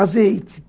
Azeite.